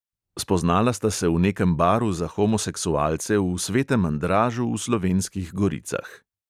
Spoznala sta se v nekem baru za homoseksualce v svetem andražu v slovenskih goricah.